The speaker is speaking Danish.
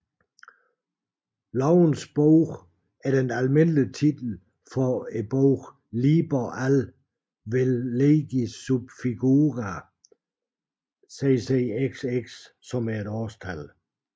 Lovens Bog er den almindelige titel for bogen Liber AL vel Legis sub figura CCXX